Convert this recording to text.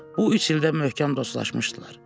Bu üç ildə möhkəm dostlaşmışdılar.